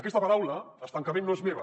aquesta paraula estancament no és meva